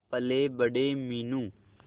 पलेबड़े Meenu